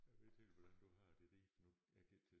Jeg ved ikke helt hvordan du har det Ribe nu jeg gik til